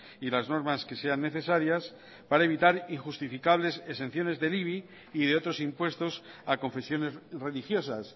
y las normas que sean necesarias para evitar injustificables exenciones del ibi y de otros impuestos a confesiones religiosas